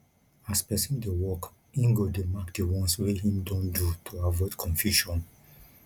as person dey work im go dey mark di ones wey im don do to avoid confusion